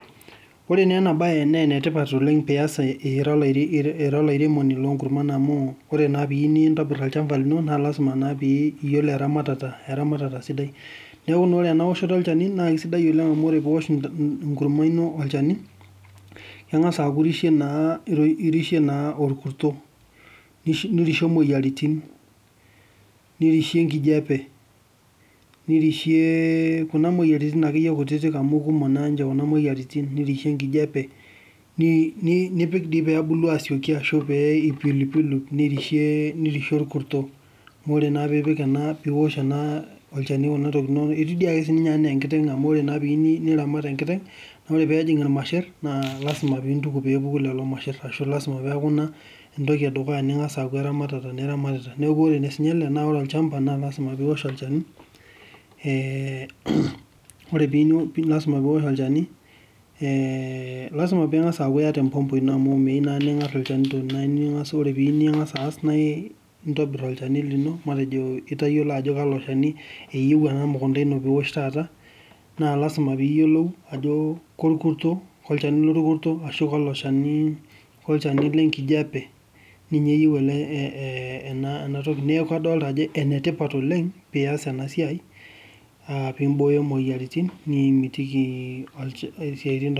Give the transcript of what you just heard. Wore naa ena baye naa enetipat pee ias ira olairemoni loonkurman amu, wore naa piiyieu nintobir olchamba lino naa lasima naa pee iyiolo eramatata sidai. Neeku naa wore enaoshoto olchani naa kaisidai oleng' amu wore pee iosh enkurma ino olchani, kengas aaku irishe naa orkuso, nirishe imoyiaritin, nirishe enkijape, nirishe kuna moyiaritin akeyie kutitik amu kumok naanche kuna moyiaritin, nirishe enkijape, nipik dii pee ebulu asioki ashu eipilu pilu. Nirishe orkurso. Wore naa pee ipik ena pee iosh ena olchani kuna tokitin inonok, itiu duake sininye enaa enkiteng amu wore na pee iyieu niramat enkiteng, naa wore pee ejing ilmarshet, naa lasima pee intuku peepuko lelo mashert. Ashu lasima peaku inia entoki edukuya ningas aaku eramatata niramatita. Neeku wore naa siinye ele, naa wore olchamba naa lasima pee iosh olchani. Wore pee iyieu, lasima pee iosh olchani, lasima pee ingas aaku iata empompo ino amu miyieu naa ningar ilchanito naa wore pee iyieu ningas aas naa intobir olchani lino matejo itayiolo ajo kalo shani, eyieu ena mukunda ino pee iosh taata. Naa lasima pee iyiolou ajo korkurso, kolchani lorkuso ashu kalo shani, kolchani lenkijape, ninye eyieu ele ena toki. Neeku kadoolta ajo enetipat oleng' pee ias ena siai, piimbooyo imoyiaritin nimitiki isiaitin